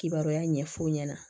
Kibaruya ɲɛf'o ɲɛna